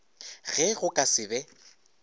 ge go ka se be